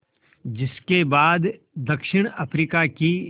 जिस के बाद दक्षिण अफ्रीका की